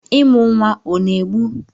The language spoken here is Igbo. ịmụ nwa ọ na-egbu?